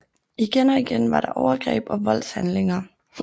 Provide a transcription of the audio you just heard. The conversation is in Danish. Igen og igen var der overgreb og voldshandlinger